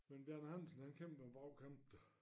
Men Bjarne Andersen han kæmper en brag kamp da